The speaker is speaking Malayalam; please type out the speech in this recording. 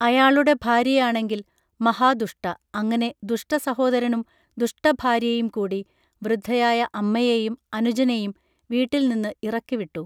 അയാളുടെ ഭാര്യയാണെങ്കിൽ മഹാദുഷ്ട അങ്ങനെ ദുഷ്ടസഹോദരനും ദുഷ്ടഭാര്യയും കൂടി വൃദ്ധയായ അമ്മയെയും അനുജനെയും വീട്ടിൽനിന്ന് ഇറക്കിവിട്ടു